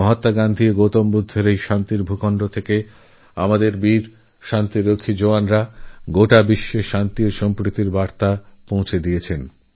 মহাত্মা গান্ধী ও গৌতমবুদ্ধের এই মাটি থেকে আমাদের বাহাদুর শান্তিরক্ষকরা সারা বিশ্বে শান্তি ওসদ্ভাবনার বার্তা পৌঁছে দিচ্ছেন